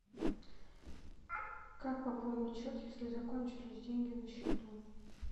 как пополнить счет если закончились деньги на счету